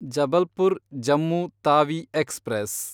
Jabalpur Jammu Tawi express